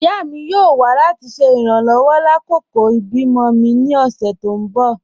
Ìyá mi yóò wà láti ṣe irànlowọ̀ lákọkọ̀ ibi-mọ̀ mi ní ọ̀ṣẹ̀ tó n bọ́